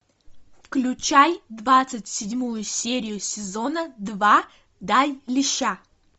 включай двадцать седьмую серию сезона два дай леща